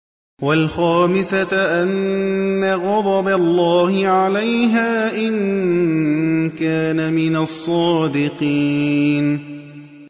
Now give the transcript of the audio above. وَالْخَامِسَةَ أَنَّ غَضَبَ اللَّهِ عَلَيْهَا إِن كَانَ مِنَ الصَّادِقِينَ